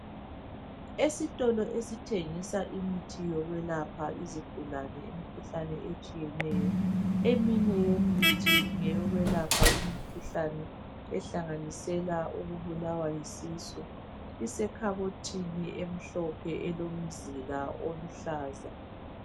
Esitolo esithengisa imithi yokwelapha izigulane imikhuhlane etshiyeneyo, eminye imithi ngeyokwelapha imikhuhlane ehlanganisela ukubulawa yisisu. Isekhabothini emhlophe elomzila oluhlaza.